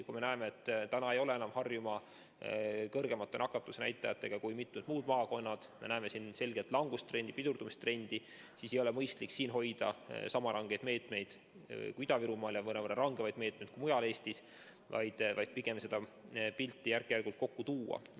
Kui me näeme, et Harjumaa ei ole enam kõrgemate nakatumisnäitajatega kui mitmed muud maakonnad, me näeme siin selgelt langustrendi, pidurdumistrendi, siis ei ole mõistlik siin hoida sama rangeid meetmeid kui Ida-Virumaal ja mõnevõrra rangemaid meetmeid kui mujal Eestis, vaid pigem seda pilti järk-järgult kokku tuua.